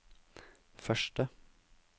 første